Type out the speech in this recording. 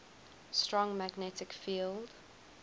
strong magnetic field